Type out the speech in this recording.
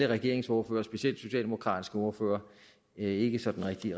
regeringens ordførere specielt den socialdemokratiske ordfører ikke sådan rigtig